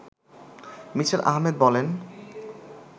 me: Ahmed বলেন